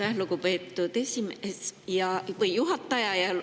Aitäh, lugupeetud juhataja!